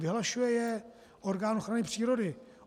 Vyhlašuje je orgán ochrany přírody.